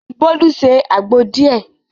Bolu se àgbo díẹ̀.